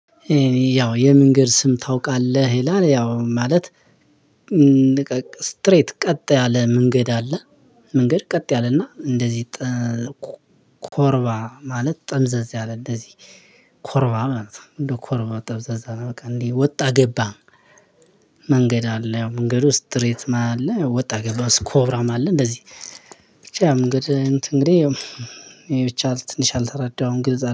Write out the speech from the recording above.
"ያው የመንገድ ስም ታውቃለህ?" ይላል፣ ያው ማለት ስትሬት ቀጥ ያለ መንገድ አለ። መንገድ ቀጥ ያለና እንደዚህ ኮርባ ማለት ጠምዘዝ ያለ እንደዚህ ኮርባ ማለት ነው እንደ ኮርባ ጠምዘዝ ያለ በቃ እንዲ ወጣ ገባ መንገድ አለ። መንገዱ ስትሬት ማይ አለ ወጣ ገባ ስኮብራም አለ እንደዚህ ብቻ መንገድ እንትን እንግዲህ ያው ብቻ ትንሽ አልተረዳሁም ግንዛ